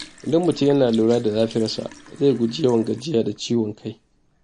Idan mutum yana lura da lafiyarsa, zai guji yawan gajiya da ciwon kai.